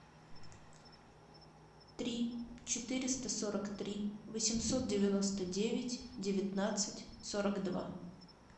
три четыреста сорок три восемьсот девяносто девять девятнадцать сорок два